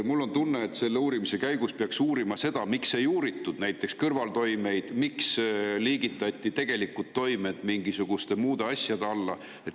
Mul on tunne, et selle uurimise käigus peaks uurima seda, miks ei uuritud kõrvaltoimeid ja miks liigitati tegelikud toimed mingisuguste muude asjade alla.